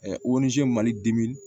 mali dimi